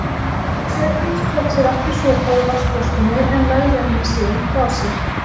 Hjördís fékk sér aftur sopa úr vatnsflöskunni en lagði hana síðan frá sér.